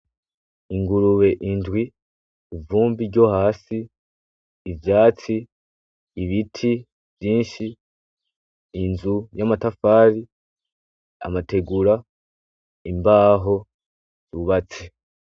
N'ingurube indwi, ivumbi ryo hasi, ivyatsi, ibiti vyinshi, inzu y'amatafari, amategura, imbaho bubatse.